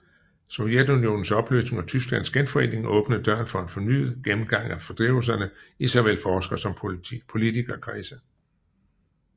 Sovjetunionens opløsning og Tysklands genforening åbnede døren for en fornyet gennemgang af fordrivelserne i såvel forsker som politikerkredse